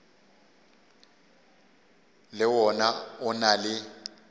le wona o na le